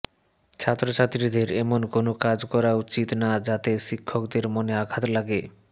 ছাত্রছাত্রীদের এমন কোনও কাজ করা উচিত না যাতে শিক্ষকদের মনে আঘাত লাগে